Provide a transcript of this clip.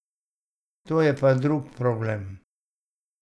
To je pa drug problem.